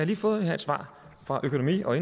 lige fået et svar fra økonomi og